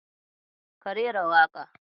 Ka rera waƙar.